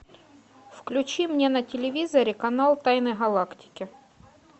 включи мне на телевизоре канал тайны галактики